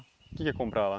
O que que ia comprar lá?